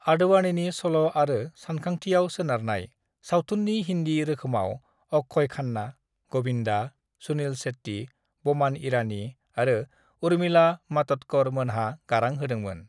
"आडवाणीनिन सल' आरो सानखांथियाव सोनारनाय, सावथुन्नि हिन्दी रोखोमाव अक्षय खान्ना, गविन्दा, सुनील शेट्टी, बमान ईरानी आरो उर्मिला मातण्डकर मोनहा गारां होदोंमोन।"